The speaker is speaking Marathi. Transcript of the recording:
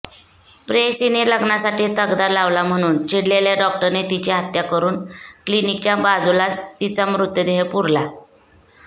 प्रेयसीने लग्नासाठी तगादा लावला म्हणून चिडलेल्या डॉक्टरने तिची हत्या करून क्लिनिकच्या बाजूलाच तिचा मृतदेह पुरला